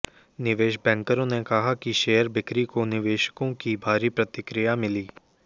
निवेश बैंकरों ने कहा कि शेयर बिक्री को निवेशकों की भारी प्रतिक्रिया मिली